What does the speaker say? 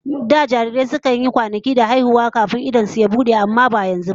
Da jarirai sai sun yi kwanaki da haihuwa kafin idanun su su bude sosai, ba yanzu ba.